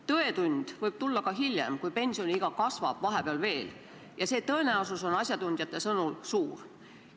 Tõetund võib tulla ka hiljem, kui pensioniiga vahepeal kasvab ja asjatundjate sõnul on see tõenäosus suur.